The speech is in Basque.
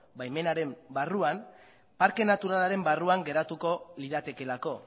baimenaren barruan parke naturalaren barruan geratuko liratekeelako